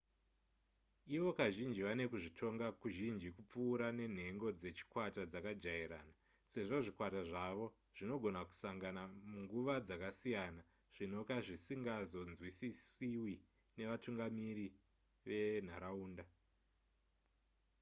ivo kazhinji vane kuzvitonga kuzhinji kupfuura nenhego dzechikwata dzakajairana sezvo zvikwata zvavo zvinogona kusangana munguva dzakasiyana zvinoka zvisingazonzwisiswi nevatungamiri venharaunda